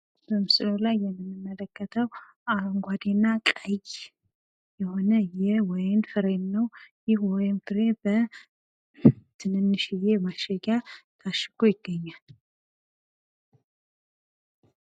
በምስሉ ላይ የምንመለከተው አረንጓዴ እና ቀይ የሆነ የወይን ፍሬ ነው። ይህ የወይን ፍሬ በትንንሽየ ማሸጊያ ታሽጎ ይገኛል::